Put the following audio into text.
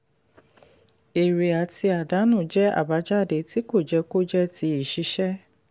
èrè àti àdánù jẹ́ àbájáde tí kò jẹ́ kò jẹ́ ti ìṣiṣẹ́.